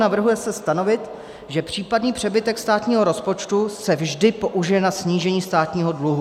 Navrhuje se stanovit, že případný přebytek státního rozpočtu se vždy použije na snížení státního dluhu.